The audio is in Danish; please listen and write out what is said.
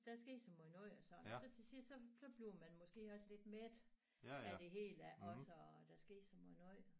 Der skete så måj noget og sådan så til sidst så så bliver man måske også lidt mæt af det hele også og der skete så måj noget